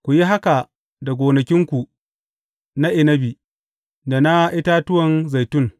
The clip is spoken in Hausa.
Ku yi haka da gonakinku na inabi, da na itatuwan zaitun.